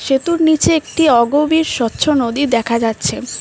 এত নীচে একটি অগভীর স্বচ্ছ নদী দেখা যাচ্ছে।